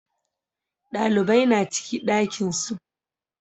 Ɗalibai na ciki ɗakin su